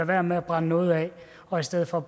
være med brænde noget af og i stedet for